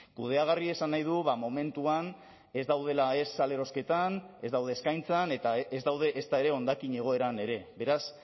kudeagarri esan nahi du momentuan ez daudela ez salerosketan ez daude eskaintzan eta ez daude ezta ere hondakin egoeran ere beraz